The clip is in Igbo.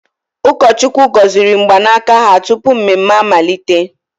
Ụkọchukwu gọziri mgbanaka ha tupu mmemme amalite.